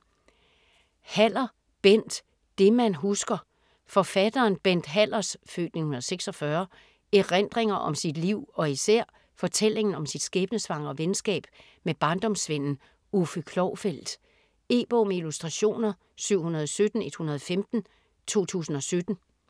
Haller, Bent: Det man husker Forfatteren Bent Hallers (f. 1946) erindringer om sit liv og især fortællingen om sit skæbnesvangre venskab med barndomsvennen Uffe Klovfeldt. E-bog med illustrationer 717115 2017.